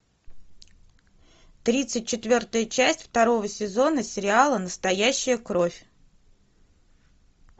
тридцать четвертая часть второго сезона сериала настоящая кровь